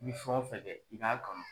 I bi fɛn wo fɛn kɛ i ka kanu.